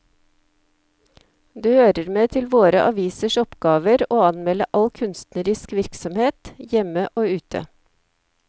Det hører med til våre avisers oppgaver å anmelde all kunstnerisk virksomhet, hjemme og ute.